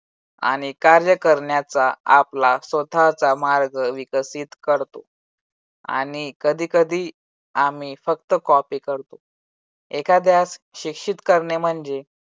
आणि कार्य करण्याचा आपला स्वतःचा मार्ग विकसित करतो आणि कधी कधी आम्ही फक्त copy करतो एखाद्यास शिक्षित करणे म्हणजे